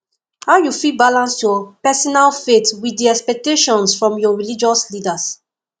how you fit balance your personal faith with di expectations from your religious leaders